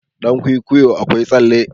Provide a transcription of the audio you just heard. dankwikwiyo akwai tsalle